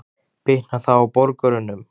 Bitnar það á borgurunum?